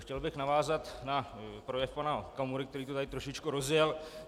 Chtěl bych navázat na projev pana Okamury, který to tady trošku rozjel.